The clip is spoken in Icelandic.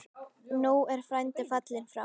Nú er frændi fallinn frá.